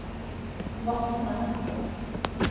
Vatne